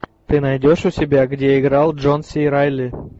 ты найдешь у себя где играл джон си райли